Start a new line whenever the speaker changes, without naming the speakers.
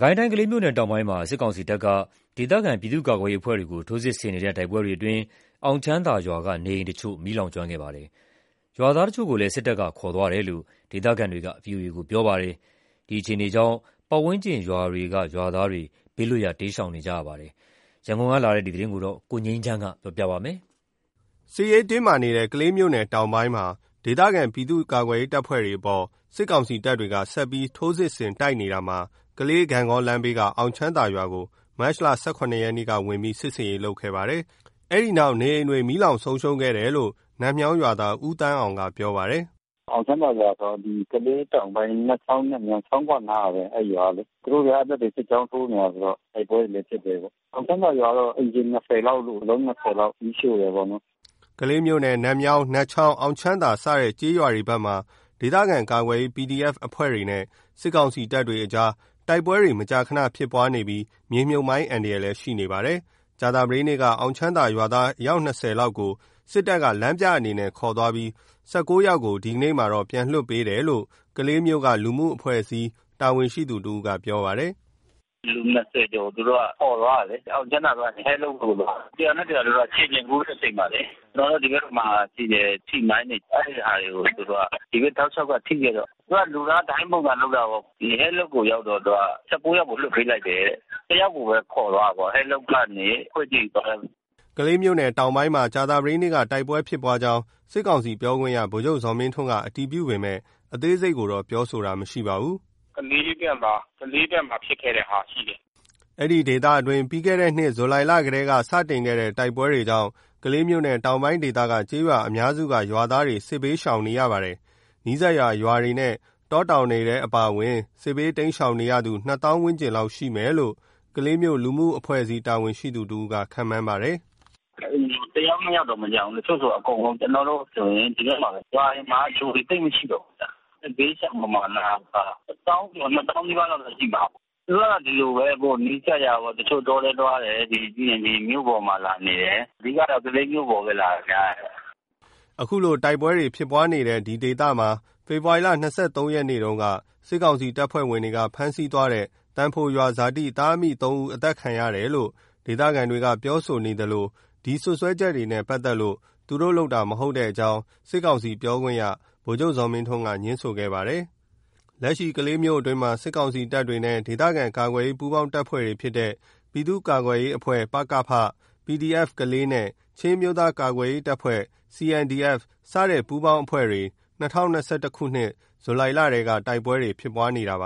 ကိုင်းတိုင်း ကလေးမြို့နယ်တောင်ပိုင်းမှာ စစ်ကောင်စီတပ်က ဒေသခံပြည်သူ့ကာကွယ်ရေးအဖွဲ့တွေကို ထိုးစစ်ဆင်တိုက်နေတဲ့ တိုက်ပွဲတွေအတွင်း အောင်ချမ်းသာရွာက နေအိမ်တချို့ မီးလောင်ကျွမ်းခဲ့ပါတယ်။ ရွာသားတချို့ကိုလည်း စစ်တပ်က ခေါ်ဆောင်သွားတယ်လို့ ဒေသခံတွေက ဗွီအိုအေကို ပြောပါတယ်။ ဒီအခြေအနေကြောင့် ပတ်ဝန်းကျင်ရွာတွေ
က ရွာသားတွေ ဘေးလွတ်ရာ တိမ်းရှောင်နေကြပါတယ်။ ရန်ကုန်ကလာတဲ့သတင်းကို ကိုငြိမ်းချမ်းက တင်ပြပေးထားပါတယ်။ စစ်ရေးတင်းမာနေတဲ့ ကလေးမြို့နယ်တောင်ပိုင်းမှာ ဒေသခံပြည်သူ့ကာကွယ်ရေးတပ်တွေအပေါ် စစ်ကောင်စီတပ်တွေက ဆက်လက်ထိုးစစ်ဆင် တိုက်နေတာမှာ ကလေး-ဂန့်ဂေါလမ်းဘေးက အောင်ချမ်းသာရွာကို မတ်လ ၁၇ ရက်က ဝင်ရောက် စစ်ဆင်ရေးလုပ်ခဲ့ပါတယ်။ စစ်တပ်တွေ ဝင်ရောက်ခဲ့ပြီး အိမ်အလုံး ၂၀ လောက်ကို မီးရှို့သွားတယ်လို့ နတ်မြောင်း ရွာသား ဦးသန်းအောင်က ပြောပါတယ်။ “အောင်ချမ်းသာရွာဆိုတာက ကလေးတောင်ပိုင်း နတ်ချောင်း နတ်မြောင်း ချောင်းခွအနားကဘဲ အဲဒီရွာကလေ။ သူတို့ကအဲ
ဒီဘက်မှာ စစ်ကြောင်းထိုးနေတယ်ဆိုတော့ တိုက်ပွဲတွေလဲဖြစ်တယ်ပေါ့။ အောင်ချမ်းသာရွာတော့ အိမ် ခြေ လောက်လို့၊ အလုံး လောက် မီးရှို့တယ်ပေါ့နော်။
” ကလေးမြို့နယ် နတ်မြောင်း၊ နတ်ချောင်း၊ အောင်ချမ်းသာစတဲ့ကျေးရွာဘက်မှာ ဒေသခံကာကွယ်ရေး PDF အဖွဲ့တွေနဲ့ စစ်ကောင်စီတပ်တွေအကြား တိုက်ပွဲမကြာခဏဖြစ်ပွားနေပြီး မြေမြှုပ်မိုင်းအန္တရာယ်လည်း ရှိနေပါတယ်။ ကြာသပတေးနေ့က အောင်ချမ်းသာရွာသား ၂၀ လောက်ကိုလည်း စစ်တပ်က လမ်းပြအနေနဲ့ ခေါ်သွားပြီး ၁၉ ယောက်ကို ဒီနေ့ သောကြာနေ့မှာ ပြန်လွှတ်ပေးတယ်လို့ ကလေးမြို့က လူမှုအဖွဲ့အစည် း တာဝန်ရှိသူတဦးက ပြောပါတယ်။
“လူ ကျော်ကို သူတို့ ခေါ်သွားတယ်လေ။ အောင်ချမ်းသာကနေ အဲလုပ်ကို ခေါ်သွားတယ်။ တရွာနဲ့တရွာကို ခြေကျင်ပို့တဲ့အချိန်မှာလေ။ ကျနော်တို့ ဒီဘက်မှာရှိတဲ့ ထိမိုင်းတွေ။ အဲဒီဟာတွေကို သူတို့က ဒီဘ
က် တောက်လျှောက်က ထိခဲ့တော့
သူတို့က လူသားဒိုင်းပုံစံလုပ်တာပေါ့။ အဲလုပ်ကိုရောက်တော့ သူတို့ ယောက်ကို လွှတ်ပေးခဲ့တယ်တဲ့။ တယောက်ကိုပဲ ခေါ်သွားတယ်ပေါ့။ အဲလုပ်ရွာကနေ ခွေကြိမ်ရွာဘက်။
” ကလေးမြို့နယ်တောင်ပိုင်းဘက်မှာ ကြာသပတေးနေ့က တိုက်ပွဲဖြစ်ပွါးကြောင်း စစ်ကောင်စီပြောခွင့်ရ ဗိုလ် ချုပ်ဇော်မင်း ထွန်းက အတည်ပြုပေမယ့် အသေးစိတ်ကိုတော့ပြောဆိုတာမရှိပါဘူး။
“ကလေးမြို့ဘက်မှာ ကလေးဘက်မှာဖြစ်ခဲ့တဲ့ဟာတော့ရှိတယ်
။” ဒေသအတွင်းပြီးခဲ့တဲ့နှစ် ဇူလိုင်လထဲက စတင်ခဲ့တဲ့ တိုက်ပွဲတွေကြောင့် ကလေးမြို့နယ်တောင်ပိုင်းဒေသက ကျေးရွာအများစုက ရွာသားတွေ စစ်ဘေးတိမ်း ရှောင်နေကြရပါတယ်။ နီးစပ်ရာရွာ တောတောင်ဒေ သမှာအပါအဝင် စစ်ဘေးတိမ်းရှောင်နေရသူ နှစ်သောင်းဝန်းကျင်ရှိမယ်လို့ ကလေးမြို့ လူမှုအဖွဲ့အစည်း တာဝန်ရှိသူတဦးက ခန့်မှန်းပါတယ်။ “တအိ
မ်မှာ တယောက်နှစ်ယောက်တောင်မကျန်ဘူး။ တချို့ဆိုအကုန်လုံး။ ကျနော်တို့ဆိုရင် ဒီဘက်မှာ ရွာတွေမှာ လူတွေသိပ်မရှိတော့ဘူး။ စစ်ဘေးရှောင်ပမာဏက တသောင်းကျော် နှစ်သောင်းနီးပါးလောက်တော့ ရှိမှာပါ။ သူတို့က ဒီလိုပဲ နီးစပ်ရာ တချို့တောထဲသွားတယ်။ ပြီးရင်ဒီမြို့ပေါ်မှာလာနေတယ်။ အဓိကတော့ ကလေးမြို့ပေါ်မှာပဲ နေတာ များတယ်။
” အခုလို တိုက်ပွဲတွေဖြစ်နေတဲ့ အဲဒီဒေသမှာ ဖေဖော်ဝါရီ ၂၃ ရက်နေ့တုန်းက စစ်ကောင်စီတပ်ဖွဲ့ဝင်တွေက ဖမ်းဆီးသွားတဲ့ သံဖိုရွာဇာတိ သားအမိ ၃ ဦး အသတ်ခံရတယ်လို့ ဒေသခံတွေကပြောဆိုနေသလို ဒီလိုစွပ်စွဲ ချက်နဲ့ပက်သက်လို့ သူတို့လုပ်တာမဟုတ်ကြောင်း စစ်ကောင်စီပြောခွင့်ရ ဗိုလ်ချုပ်ဇော်မင်းထွန်းက ငြင်းဆိုခဲ့ပါတယ်။ လက်ရှိ ကလေးမြို့အတွင်းမှာ စစ်ကာင်စီတပ်နဲ့ ဒေသကာကွယ်ရေး ပူးပေါင်းတပ်ဖွဲ့တွေဖြစ်တဲ့ ပြည်သူ့ကာကွယ်ရေးအဖွဲ့ ပကဖ၊ PDF ကလေးနဲ့ ချင်းအမျိုးသားကာကွယ်ရေးအဖွဲ့ CNDF စတဲ့ပူးပေါင်းအဖွဲ့တွေ ၂၀၂၁ ခုနှစ် ဇူလိုင်လထဲက တိုက်ပွဲတွေ ဖြစ်ပွားနေတာဖြစ်ပ